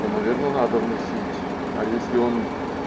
то наверное надо вносить а если он